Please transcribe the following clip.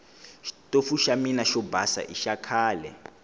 xitofu xa mina xo basa i xakhale